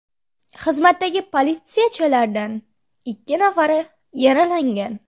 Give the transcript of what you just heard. Xizmatdagi politsiyachilardan ikki nafari yaralangan.